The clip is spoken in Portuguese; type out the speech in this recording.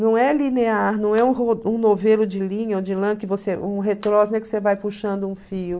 Não é linear, não é um um novelo de linha ou de lã, que você... um que você vai puxando um fio.